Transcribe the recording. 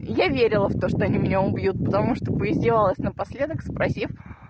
я верила в то что они меня убьют потому что поиздевалась напоследок спросив